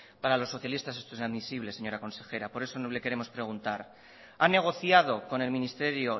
para los socialistas esto es inadmisible señora consejera por eso le queremos preguntar han negociado con el ministerio